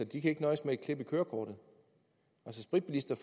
kan nøjes med et klip i kørekortet spritbilister